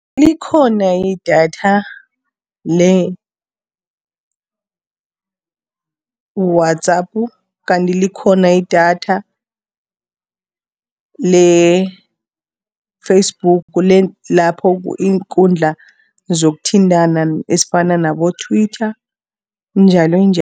Likhona idatha le-WhatsApp, kanti likhona idatha le-Facebook lapho iinkundla zokuthintana ezifana nabo-Twitter njalonjalo.